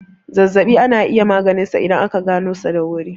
Zazzaɓi ana iya maganinsa idan aka ganoshi da wurin.